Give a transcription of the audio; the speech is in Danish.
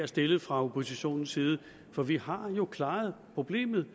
stilles fra oppositionens side for vi har jo klaret problemet